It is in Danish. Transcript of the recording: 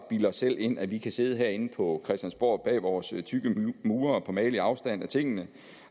bilde os selv ind at vi kan sidde herinde på christiansborg bag vores tykke mure på behagelig afstand af tingene